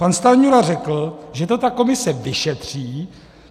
Pan Stanjura řekl, že to ta komise vyšetří.